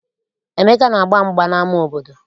Emeka na-agba mgba n'ama obodo.